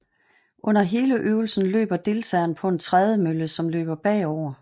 Under hele øvelsen løber deltageren på en trædemølle som løber bagover